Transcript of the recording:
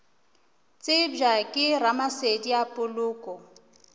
tsebja ke ramasedi a poloko